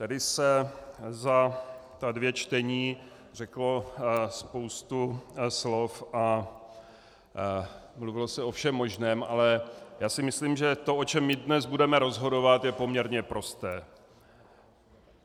Tady se za ta dvě čtení řekla spousta slov a mluvilo se o všem možném, ale já si myslím, že to, o čem my dnes budeme rozhodovat, je poměrně prosté.